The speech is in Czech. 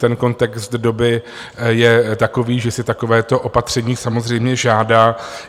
Ten kontext doby je takový, že si takovéto opatření samozřejmě žádá.